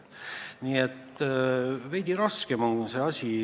Nii et veidi raskem on see probleem.